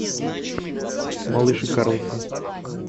малыш и карлсон